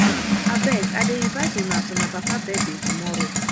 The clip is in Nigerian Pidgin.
abeg i dey invite una to my papa birthday tomorrow